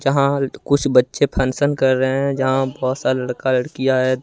यहां कुछ बच्चे फंक्शन कर रहे हैं जहां बहुत सारा लड़का लड़कियां है।